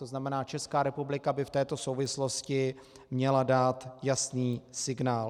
To znamená, Česká republika by v této souvislosti měla dát jasný signál.